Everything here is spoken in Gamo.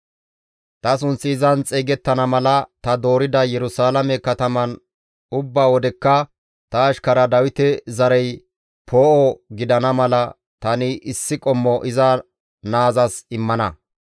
Ta sunththi izan xeygettana mala ta doorida Yerusalaame kataman ubba wodekka ta ashkara Dawite zarey poo7o gidana mala tani issi qommo iza naazas immana.